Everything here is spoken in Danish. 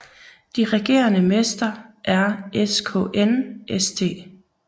De regerende mester er SKN St